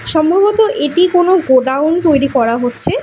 সম্ভবত এটি কোনো গোডাউন তৈরি করা হচ্ছে।